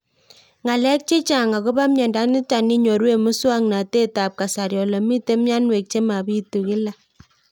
Ng'alek chechang' akopo miondo nitok inyoru eng' muswog'natet ab kasari ole mito mianwek che mapitu kila